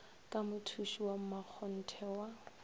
ka mothuši wa mmakgonthe wa